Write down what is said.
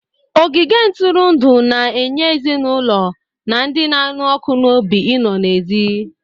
Ogige ntụrụndụ na-enye ezinụlọ na ndị na-anụ ọkụ n'obi I no n'èzí.